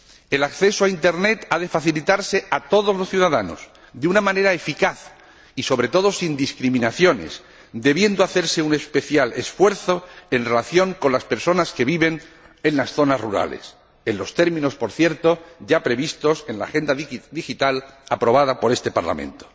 El acceso a Internet ha de facilitarse a todos los ciudadanos de una manera eficaz y, sobre todo, sin discriminaciones, debiendo hacerse un especial esfuerzo en relación con las personas que viven en las zonas rurales, en los términos, por cierto, ya previstos en la Agenda Digital aprobada por este Parlamento.